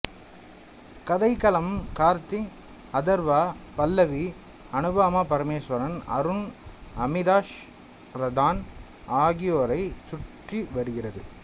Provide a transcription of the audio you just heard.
கதைக்களம் கார்த்திக் அதர்வா பல்லவி அனுபமா பரமேசுவரன் அருண் அமிதாஷ் பிரதான் ஆகியோரைச் சுற்றி வருகிறது